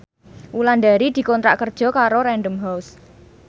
Wulandari dikontrak kerja karo Random House